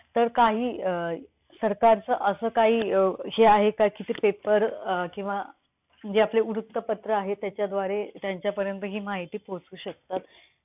असा हा नैसर्ग जलप्रवाह जसे की ओव्हाळ ,ओढा, नाळा, नाला , उपनदी, नदी ,इत्यादी विविध रूपात दिसतो.